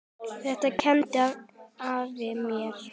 Þetta kenndi afi mér.